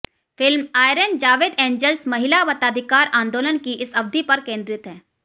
film Iron Jawed Angels महिला मताधिकार आंदोलन की इस अवधि पर केंद्रित है